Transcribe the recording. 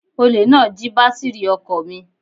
Olè náà jí bátírì ọkọ̀ mi